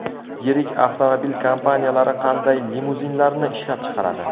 Yirik avtomobil kompaniyalari qanday limuzinlarni ishlab chiqaradi?